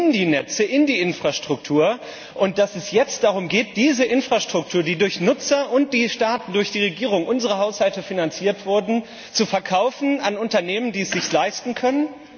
die Netze, in die Infrastruktur, investiert haben, und dass es jetzt darum geht, diese Infrastruktur, die durch Nutzer und durch die Staaten, durch die Regierungen, unsere Haushalte finanziert wurde, zu verkaufen an Unternehmen, die sich das leisten können?